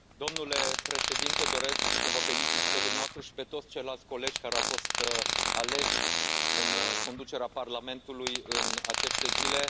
Domnule președinte, doresc să vă felicit și pe dumneavoastră și pe toți ceilalți colegi care au fost aleși în conducerea Parlamentului în aceste zile.